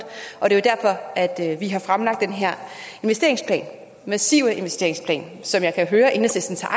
og det er derfor at vi har fremlagt den her massive investeringsplan som jeg kan høre enhedslisten tager